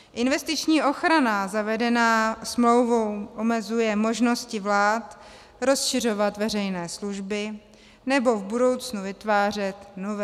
Investiční ochrana zavedená smlouvou omezuje možnosti vlád rozšiřovat veřejné služby nebo v budoucnu vytvářet nové.